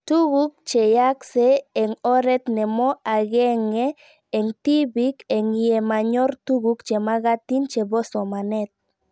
Tuguk che yaakse eng' oret nemo ag'eng'e eng' tipik eng' ye manyor tuguk chemakatin chepo somanet